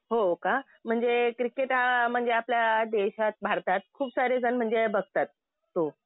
हो का. म्हणजे क्रिकेट हा म्हणजे आपल्या देशात भारतात खूप सारे जण म्हणजे बघतात. हो.